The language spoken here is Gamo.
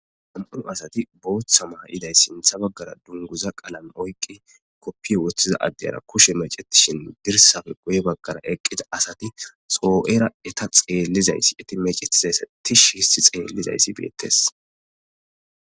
Am7unu asati booththa mah iday sintha baggara dunguza qalame oyqi koppiye woththiza addeyara kushe mecetishin birsafe goye baggara eqqida asati soo7era eta xeellizayssi eti mecetizayssa tish histi xeellizayssi beettes.